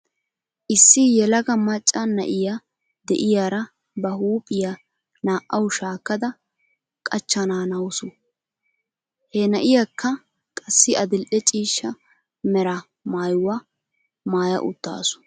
Issi yelaga macca na'iyaa de'iyaara ba huuphiyaa naa'aw shaakkada qachchanaanawus. He na'iyaakka qassi adil''e ciishsha mera maayuwaa maaya uttasu .